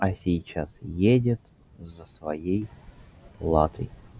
а сейчас едет за своей платой